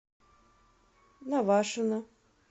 навашино